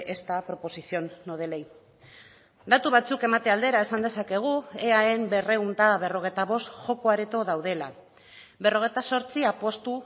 esta proposición no de ley datu batzuk emate aldera esan dezakegu eaen berrehun eta berrogeita bost joko areto daudela berrogeita zortzi apustu